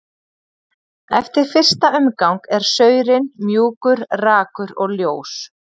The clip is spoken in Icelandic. Eftir fyrsta umgang er saurinn mjúkur, rakur og ljós.